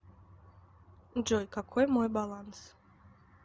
джой какой мой баланс